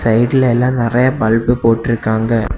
சைடுல எல்லா நெறைய பல்பு போட்ருக்காங்க.